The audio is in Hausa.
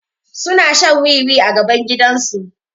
Suna shan wiwi a gaban gidan su